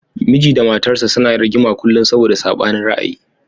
Miji da matarsa ​​suna rigima kullum saboda sabanin ra'ayi.